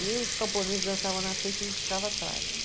E os camponeses dançavam na frente e a gente ficava atrás.